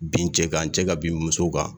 Bin cɛ kan, cɛ ka bin musow kan.